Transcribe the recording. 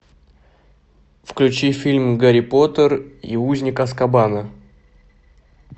включи фильм гарри поттер и узник азкабана